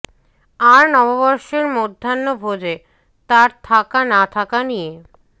আর নববর্ষের মধ্যাহ্ন ভোজে তার থাকা না থাকা নিয়ে